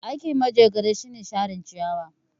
Aikin Manjagara shine share ciyawa.